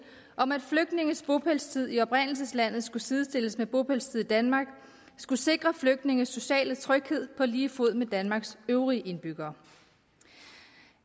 om at flygtninges bopælstid i oprindelseslandet skulle sidestilles med bopælstid i danmark skulle sikre flygtninges sociale tryghed på lige fod med danmarks øvrige indbyggere